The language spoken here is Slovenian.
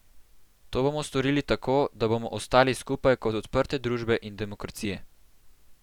To bomo storili tako, da bomo ostali skupaj kot odprte družbe in demokracije.